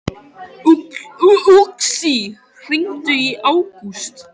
Með málþræði getur enginn ferðast- aðeins sent orð.